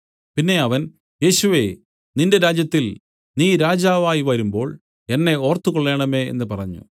പിന്നെ അവൻ യേശുവേ നിന്റെ രാജ്യത്തിൽ നീ രാജാവായി വരുമ്പോൾ എന്നെ ഓർത്തുകൊള്ളേണമേ എന്നു പറഞ്ഞു